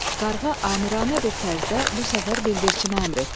Qarğa amiranə bir tərzdə bu səfər bildirçinə əmr etdi.